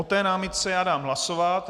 O té námitce já dám hlasovat.